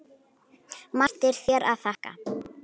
Margt er hér að þakka